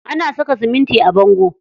Ana saka siminti a bango.